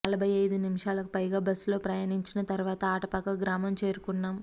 నలభై ఐదు నిమిషాలకుపైగా బస్సులో ప్రయాణించిన తర్వాత ఆటపాక గ్రామం చేరుకున్నాం